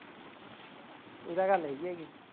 ਇਹ ਤਾਂ ਗੱਲ ਹੈਗੀ ਐ